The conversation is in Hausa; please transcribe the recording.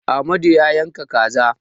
Amadu ya yanka kaza.